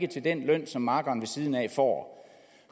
den løn som makkeren ved siden af får